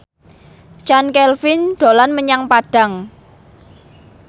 Chand Kelvin dolan menyang Padang